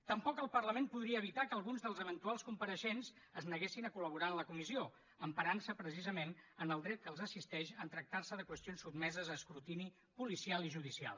tampoc el parlament podria evitar que alguns dels eventuals compareixents es neguessin a colcisament en el dret que els assisteix en tractar se de qüestions sotmeses a escrutini policial i judicial